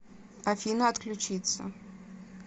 афина отключиться